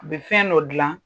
U bi fɛn dɔ glan